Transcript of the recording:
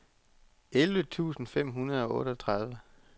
elleve tusind fem hundrede og otteogtredive